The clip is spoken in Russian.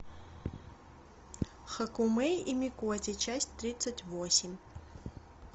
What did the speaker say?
хакумэй и микоти часть тридцать восемь